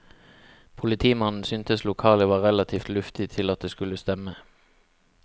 Politimannen syntes lokalet var relativt luftig til at det skulle stemme.